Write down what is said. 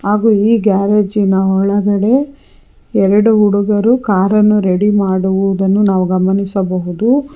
ಹಾಗು ಈ ಗ್ಯಾರೇಜಿನ ಒಳಗಡೆ ಎರಡು ಹುಡುಗರು ಕಾರನ್ನು ರೆಡಿ ಮಾಡುವುದನ್ನು ನಾವು ಗಮನಿಸಬಹುದು.